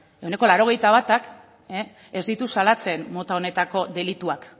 ehuneko laurogeita batak ez ditu salatzen mota honetako delituak